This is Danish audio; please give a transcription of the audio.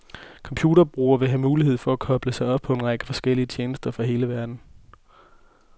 Computerbrugere vil have mulighed for at koble sig op på en række forskellige tjenester fra hele verden.